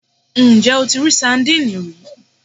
Ǹjẹ́ o ti rí sandínì rí